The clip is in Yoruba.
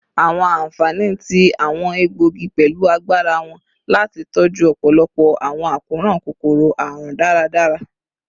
Awọn anfani ti awọn egboogi pẹlu agbara wọn lati tọju ọpọlọpọ awọn akoran kokoro-arun daradara